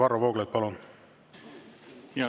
Varro Vooglaid, palun!